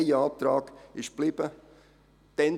Ein Antrag ist geblieben.